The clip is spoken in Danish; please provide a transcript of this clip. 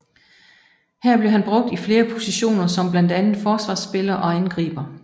Her blev han brugt i flere positioner som blandt andet Forsvarsspiller og Angriber